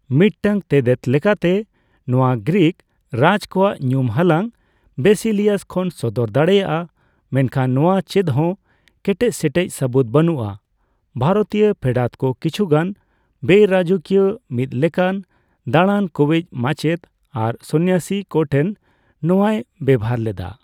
ᱢᱤᱫᱴᱟᱝ ᱛᱮᱛᱮᱫ ᱞᱮᱠᱟᱛᱮ, ᱱᱚᱣᱟ ᱜᱨᱤᱠᱽ ᱨᱟᱡᱽ ᱠᱚᱣᱟᱜ ᱧᱩᱢ ᱦᱟᱞᱟᱝ ᱵᱮᱥᱤᱞᱤᱭᱟᱥ ᱠᱷᱚᱱᱮ ᱥᱚᱫᱚᱨ ᱫᱟᱲᱮᱭᱟᱜᱼᱟ, ᱢᱮᱱᱠᱷᱟᱱ ᱱᱚᱣᱟ ᱪᱮᱫᱦᱚ ᱠᱮᱴᱮᱡ ᱥᱮᱴᱮᱡ ᱥᱟᱹᱵᱩᱫ ᱵᱟᱹᱱᱩᱜᱼᱟ, ᱵᱷᱟᱨᱚᱛᱤᱭᱟᱹ ᱯᱷᱮᱰᱟᱛᱠᱚ ᱠᱤᱪᱷᱩᱜᱟᱱ ᱵᱮᱼᱨᱟᱡᱚᱠᱤᱭᱟᱹ, ᱢᱤᱫ ᱞᱮᱠᱟᱱ ᱫᱟᱲᱟᱱ ᱠᱚᱣᱤᱡᱽ ᱢᱟᱪᱮᱫ ᱟᱨ ᱥᱚᱱᱱᱭᱟᱥᱤ ᱠᱚ ᱴᱷᱮᱱ ᱱᱚᱣᱟᱭ ᱵᱮᱵᱷᱟᱨ ᱞᱮᱫᱟ ᱾